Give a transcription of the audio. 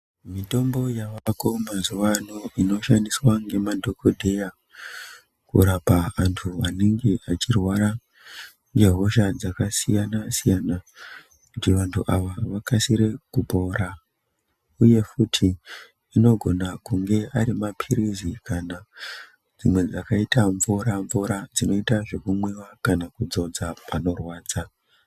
Mitombo yavako mazuva ano inoshandiswa ngemadhogodheya kurapa antu anenge achirwara ngehosha dzakasiyana-siyana. Kuti vantu ava vakasire kupora, uye futi anogona kunge ari maphirizi kana dzimwe dzakaita mvura-mvura, dzinoita zvekumwiva kana kudzodza panorwadza.